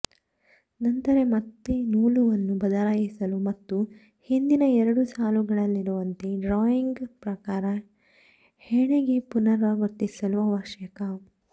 ನಂತರ ಮತ್ತೆ ನೂಲುವನ್ನು ಬದಲಾಯಿಸಲು ಮತ್ತು ಹಿಂದಿನ ಎರಡು ಸಾಲುಗಳಲ್ಲಿರುವಂತೆ ಡ್ರಾಯಿಂಗ್ ಪ್ರಕಾರ ಹೆಣಿಗೆ ಪುನರಾವರ್ತಿಸಲು ಅವಶ್ಯಕ